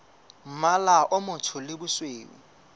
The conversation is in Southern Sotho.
mmala o motsho le bosweu